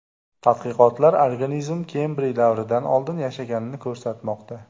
Tadqiqotlar organizm Kembriy davridan oldin yashaganini ko‘rsatmoqda.